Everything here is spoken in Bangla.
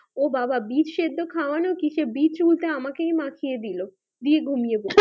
ও বাবা বিচ সেদ্দ খাওয়ানো কিসের বিচ উল্টে আমাকেই মাখিয়ে দিলো দিয়ে ঘুমিয়ে দিলো